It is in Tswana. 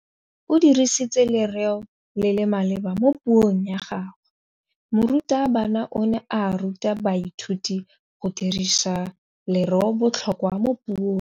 O dirisitse lerêo le le maleba mo puông ya gagwe. Morutabana o ne a ruta baithuti go dirisa lêrêôbotlhôkwa mo puong.